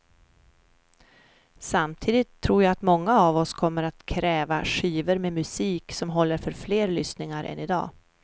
Samtidigt tror jag att många av oss kommer att kräva skivor med musik som håller för fler lyssningar än i dag.